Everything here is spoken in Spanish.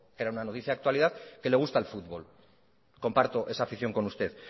porque era una noticia de actualidad que le gusta el fútbol comparto esa afición con usted